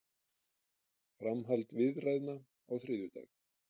Framhald viðræðna á þriðjudag